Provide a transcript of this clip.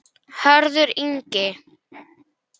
Hörður Ingi.